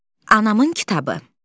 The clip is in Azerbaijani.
Anamın kitabı.